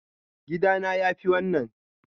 Gida na yafi wannan.